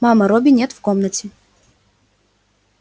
мама робби нет в комнате